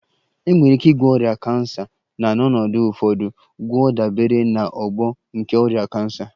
Enwere ike ịgwọ ọrịa cancer na n'ọnọdụ ụfọdụ, gwọọ dabere na ogbo nke ọrịa cancer